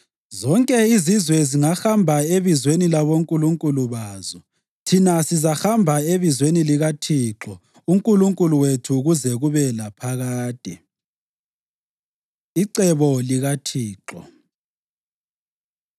Zonke izizwe zingahamba ebizweni labonkulunkulu bazo; thina sizahamba ebizweni likaThixo uNkulunkulu wethu kuze kube laphakade. Icebo LikaThixo